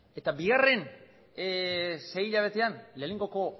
eta bigarren sei hilabetean lehenengoko